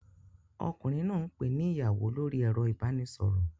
Ọkùnrin náà ń pè ni ìyàwó lórí ẹ̀rọ ìbánisọ̀rọ̀